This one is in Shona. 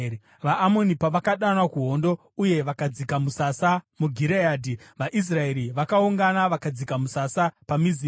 VaAmoni pavakadanwa kuhondo uye vakadzika musasa muGireadhi, vaIsraeri vakaungana vakadzika musasa paMizipa.